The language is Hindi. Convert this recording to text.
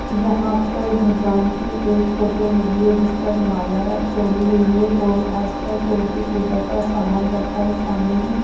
यहां पर भगवान की एक फोटो लगी है जिस पर माला चढ़ी हुई है और आस पास और भी पूजा का सामान रखा है सामने ही--